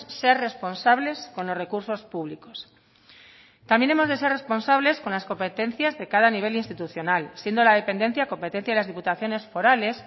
ser responsables con los recursos públicos también hemos de ser responsables con las competencias de cada nivel institucional siendo la dependencia competencia de las diputaciones forales